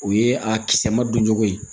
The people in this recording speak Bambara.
O ye a kisɛ ma don cogo ye